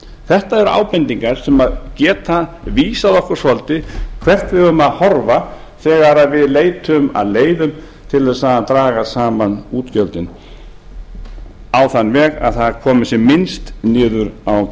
þetta eru ábendingar sem geta vísað okkur svolítið hvert við eigum að horfa þegar við leitum að leiðum til að draga saman útgjöldin á þann veg að það komi sem minnst niður á